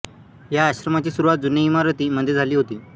या आश्रमाची सुरुवात जुने इमारती मध्ये झाली होती